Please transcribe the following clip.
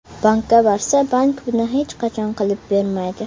Bankka borsa, bank buni hech qachon qilib bermaydi.